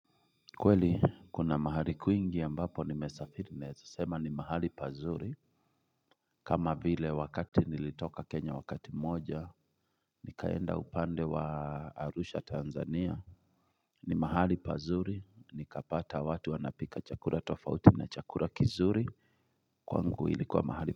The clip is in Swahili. Kweli kuna mahali kuingi ambapo nimesafiri neweza sema ni mahali pazuri kama vile wakati nilitoka Kenya wakati moja Nikaenda upande wa Arusha Tanzania ni mahali pazuri nikapata watu wanapika chakula tofauti na chakula kizuri kwangu ilikuwa mahali.